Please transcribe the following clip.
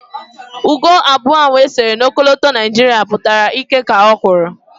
Ugo abụọ ahụ e sere na ọkọlọtọ Naijiria pụtara ịkẹ́ ka o kwuru